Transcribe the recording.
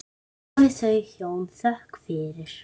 Hafi þau hjón þökk fyrir.